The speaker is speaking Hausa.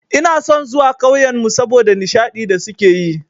Ina son zuwa ƙauyenmu saboda nishadi da suke yi.